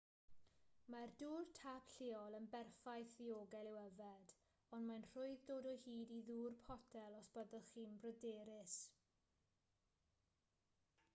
mae'r dŵr tap lleol yn berffaith ddiogel i'w yfed ond mae'n rhwydd dod o hyd i ddŵr potel os byddwch chi'n bryderus